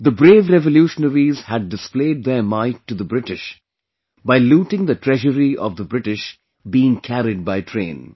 The brave revolutionaries had displayed their might to the British by looting the treasury of the British being carried by train